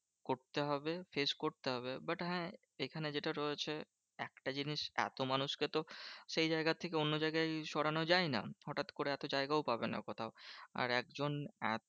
করতে হবে। face করতে হবে। but হ্যাঁ এখানে যেটা রয়েছে, একটা জিনিস এত মানুষকে তো সেই জায়গার থেকে অন্য জায়গায় সরানো যায় না? হটাৎ করে এত জায়গাও পাবে না কোথাও। আর একজন এত